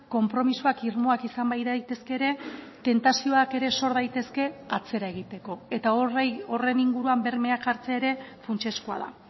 konpromisoak irmoak izan badaitezke ere tentazioak ere sor daitezke atzera egiteko eta horri horren inguruan bermeak jartzea ere funtsezkoa da